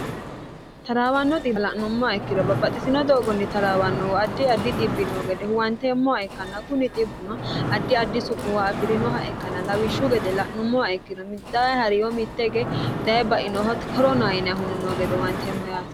taraawanno la'nummoha ikkiro babbaxxisino doogonni taraawannohu addi addi xibbi noo gede huwanteemmoha ikkanna kuni xibbuno addi addi su'muwa afi'rinoha ikkanna lawishshu gede la'nummoha ikkino middai ha'riyo mitte ge daye bainoho koronayiniyahuno no gede huwanteemmo yaati